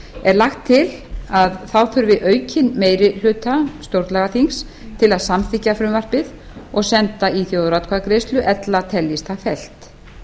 er lagt til að þá þurfi aukinn meiri hluta stjórnlagaþings til að samþykkja frumvarpið og senda í þjóðaratkvæðagreiðslu ella teljist það fellt